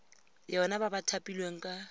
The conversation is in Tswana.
yona ba ba thapilweng ka